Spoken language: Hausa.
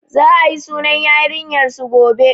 Za a yi sunan yarinyar su gobe